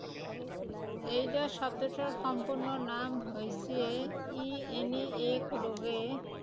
AIDS শব্দটোৰ সম্পূৰ্ণ নাম হৈছে, ই এনে এক ৰোগে